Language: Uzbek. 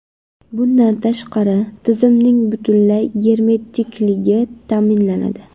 Bundan tashqari, tizimning butunlay germetikligi ta’minlanadi.